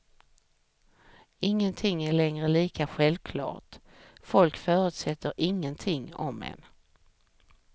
Ingenting är längre lika självklart, folk förutsätter ingenting om en.